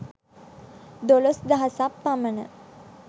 දොළොස් දහසක් පමණ